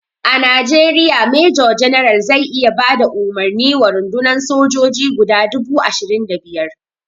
A Najeriya major general zai iya bada umarni wa rundunan sojoji guda dubu ashirin da biyar.